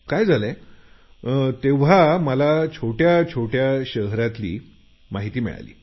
काय झालंय तेव्हा मला छोट्या छोट्या शहरातली माहिती मिळाली